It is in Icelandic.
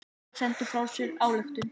Þeir sendu frá sér ályktun.